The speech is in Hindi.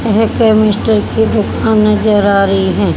वहां एक केमेस्ट्री की दुकान नज़र आ रही है।